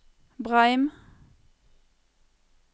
Breim